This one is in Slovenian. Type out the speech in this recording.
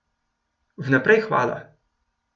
Vnaprej hvala.